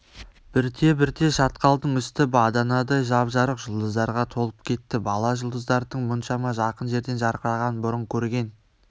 бірте-бірте шатқалдың үсті баданадай жап-жарық жұлдыздарға толып кетті бала жұлдыздардың мұншама жақын жерден жарқырағанын бұрын көрген